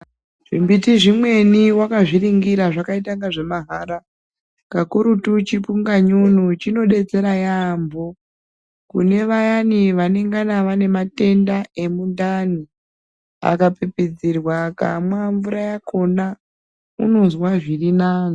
Zvimbiti zvimweni wakazviningira zvaitangazvemahara. Kakurutu chipunganyunyu chinodetsera yambho kune vayani vanengana vanematenda emundani akapipidzirwa akamwa mvura yakhona unozwa zvirinani.